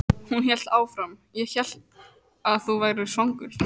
Hún hélt áfram: Ég hélt að þú værir svangur.